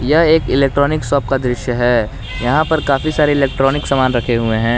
यह एक electronic shop का दृश्य है यहां पर काफी सारे इलेक्ट्रॉनिक सामान रखे हुए हैं।